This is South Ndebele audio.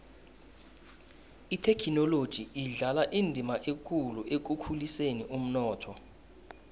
ithekhinoloji idlala indima ekulu ekukhuliseni umnotho